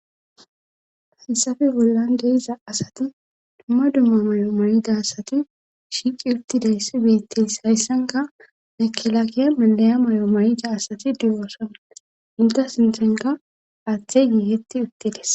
Haysafe bollan deiza asati dumma dumma may7o may7ida asati shiiqi uttidayssi betteys hayssanka makelaakeya mandaya may7o may7ida asati diyoosa inta sinthenka aaththey giigetti uttedes.